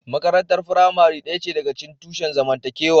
Makarantar firamare ɗaya ce daga cikin tushen zamantakewa.